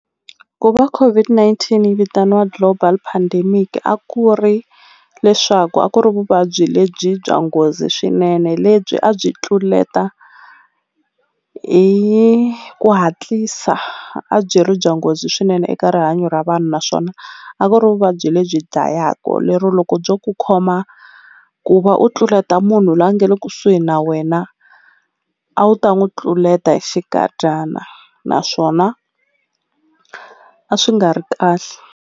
Ku va COVID-19 yi vitaniwa global pandemic a ku ri leswaku a ku ri vuvabyi lebyi bya nghozi swinene lebyi a byi tluleta hi ku hatlisa a byi ri bya nghozi swinene eka rihanyo ra vanhu naswona a ku ri vuvabyi lebyi dlayaku lero loko byo ku khoma ku va u tluleta munhu la nga le kusuhi na wena a wu ta n'wu tluleta hi xikadyana naswona a swi nga ri kahle.